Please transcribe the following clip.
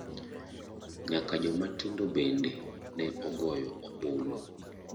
Nyaka joma tindo bende ne ogoyo ombulu.